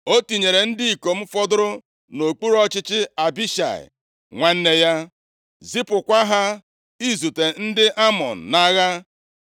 O tinyere ndị ikom fọdụrụ nʼokpuru ọchịchị Abishai, nwanne ya, zipụkwa ha izute ndị Amọn nʼagha.